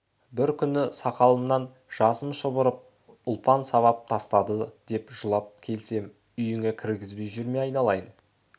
бір күні сақалымнан жасым шұбырып ұлпан сабап тастады деп жылап келсем үйіңе кіргізбей жүрме айналайын